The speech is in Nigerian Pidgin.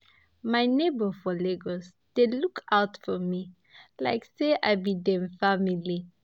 My neighbor for Lagos dey look out for me like say I be dem family.